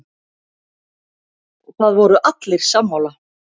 Það voru allir sammála.